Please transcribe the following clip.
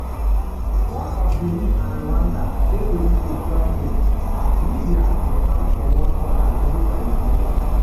one um ofbeninandrwandadey ready to join dem aslibyadey hang for one corner ready for elimination.